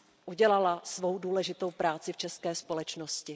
udělala svou důležitou práci v české společnosti.